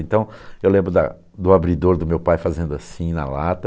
Então, eu lembro da do abridor do meu pai fazendo assim na lata.